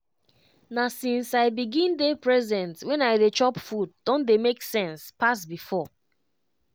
na since i begin dey present when i dey chop food don dey make sense pass before.